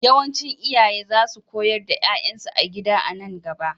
Yawancin iyaye za su koyar da 'ya'yansu a gida a nan gaba.